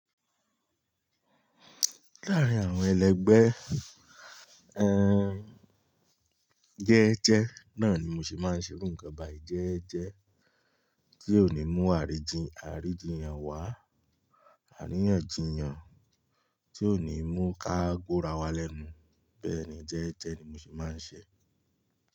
Láàárín àwọn ẹlẹgbẹ́, jẹ́ẹ́jẹ́ náà ni mo sì máa ń ṣe irú nǹkan, bá jẹ́ẹ́jẹ́ tí ò ní mú àríjì, àríjì yan wá, àríyànjiyàn tí ò ní mú kágórà wa lẹ́nu bẹ́ẹ̀ni jẹ́ẹ́jẹ́ ni mo se máa ń ṣe.